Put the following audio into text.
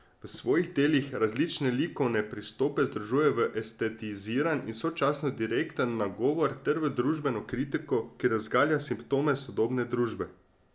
V svojih delih različne likovne pristope združuje v estetiziran in sočasno direkten nagovor ter v družbeno kritiko, ki razgalja simptome sodobne družbe.